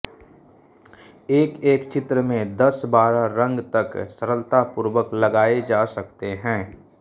एक एक चित्र में दस बारह रंग तक सरलतापूर्वक लगाए जा सकते हैं